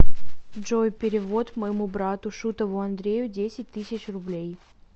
джой перевод моему брату шутову андрею десять тысяч рублей